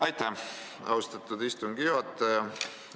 Aitäh, austatud istungi juhataja!